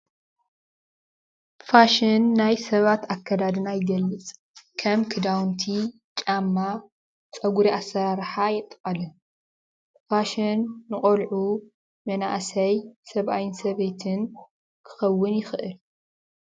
ፋሽን ናይ ሰባት ኣከዳድና ይገልፅ ከም ክዳዉንቲ ጫማ ፀጉሪ ኣሰራርሓ የጠቃልል ፋሽን ንቆልዑ መናእሰይ ሰብኣይን ሰበይትን ክከውን ይክእል።